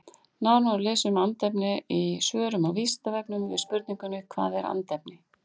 Nánar má lesa um andefni í svörum á Vísindavefnum við spurningunum Hvað er andefni?